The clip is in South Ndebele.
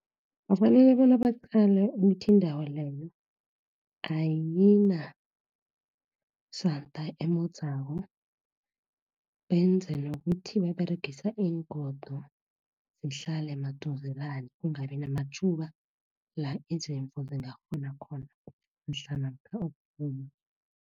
Kufanele bona baqale ukuthi indawo leyo, ayinasanda emodzako, benze nokuthi baberegisa iingodo zihlale maduzelana kungabinamatjhuba, la izimvu zingaphuma khona mhlana kukubumbi